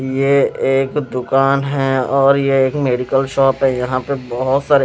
ये एक दुकान है और ये एक मेडिकल शॉप है यहां पे बहोत सारे--